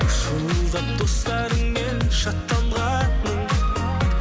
шуылдап достарыңмен шаттанғаның